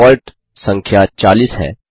default संख्या 40 है